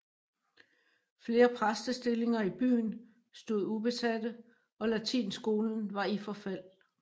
Flere præstestillinger i byen stod ubesate og latinskolen var i forfald